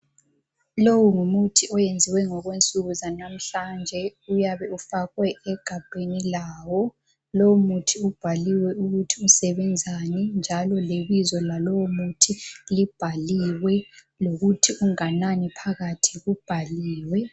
Lowu ngumuthi oyenziwe ngokwensuku zanamhlanje, uyabe ufakwe egabheni lawo. Lowomuthi ubhaliwe ukuthi usebenzani njalo lebizo lalowo muthi libhaliwe lokuthi unganani phakathi kwawo ubhaliwe.